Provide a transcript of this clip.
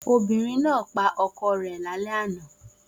Obìnrin náà pa ọkọ rẹ̀